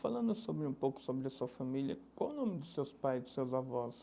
Falando sobre um pouco sobre a sua família, qual é o nome de seus pais e de seus avós?